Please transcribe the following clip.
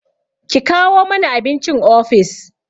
Ki kawo mani abincin ofis!